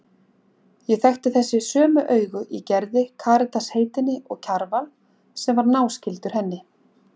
Ég þekkti þessi sömu augu í Gerði, Karitas heitinni og Kjarval, sem var náskyldur henni.